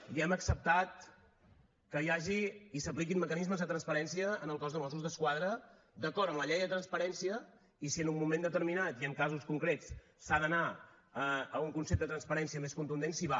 i hem acceptat que hi hagi i s’apliquin mecanismes de transparència en el cos de mossos d’esquadra d’acord amb la llei de transparència i si en un moment determinat i en casos concrets s’ha d’anar a un concepte de transparència més contundent s’hi va